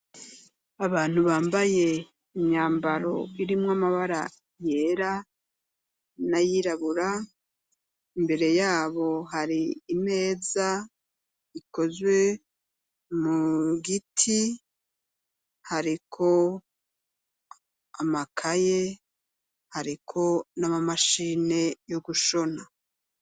Abantu bambaye imyambaro irimwo amabara yera nay’irabura imbere yabo hari imeza ikozwe mu giti hariko amakaye hariko nama mashine yogushona.